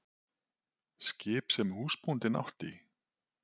Skip sem húsbóndinn átti?